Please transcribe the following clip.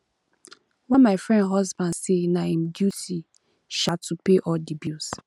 um my friend husband say na im duty um to pay all di bills